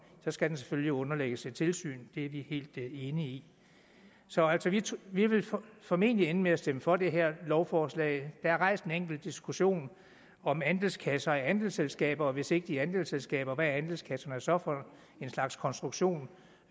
så skal den selvfølgelig underlægges et tilsyn det er vi helt enige i så vi vil altså formentlig ende med at stemme for det her lovforslag der rejst en enkelt diskussion om andelskasser og andelsselskaber hvis ikke de er andelsselskaber hvad er andelskasserne så for en slags konstruktion